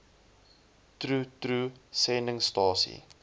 troe troe sendingstasie